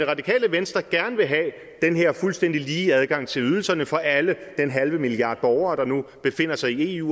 radikale venstre gerne vil have den her fuldstændig lige adgang til ydelserne for alle den halve milliard borgere der nu befinder sig i eu